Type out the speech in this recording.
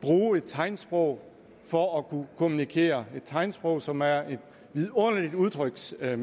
bruge et tegnsprog for at kunne kommunikere et tegnsprog som er et vidunderligt udtryksmiddel